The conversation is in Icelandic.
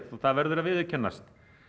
það verður að viðurkennast